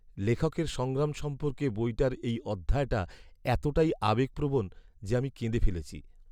লেখকের সংগ্রাম সম্পর্কে বইটার এই অধ্যায়টা এতটাই আবেগপ্রবণ যে আমি কেঁদে ফেলেছি।